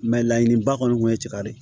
Mɛ laɲiniba kɔni kun ye cɛkari